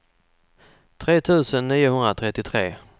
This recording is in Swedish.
tre tusen niohundratrettiotre